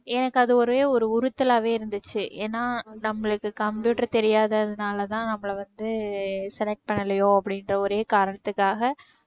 எனக்கு அதே ஒரே ஒரு உறுத்தலாவே இருந்துச்சு ஏன்னா நம்மளுக்கு computer தெரியாததுனால தான் நம்மள வந்து select பண்ணலையோ அப்படின்ற ஒரே காரணத்துக்காக